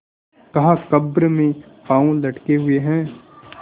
कहाकब्र में पाँव लटके हुए हैं